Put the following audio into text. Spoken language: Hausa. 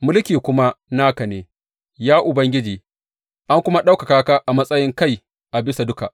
Mulki kuma naka ne, ya Ubangiji; an kuma ɗaukaka ka a matsayin kai a bisa duka.